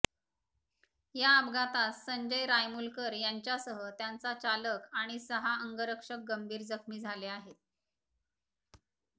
या अपघातात संजय रायमूलकर यांच्यासह त्यांचा चालक आणि सहा अंगरक्षक गंभीर जखमी झाले आहेत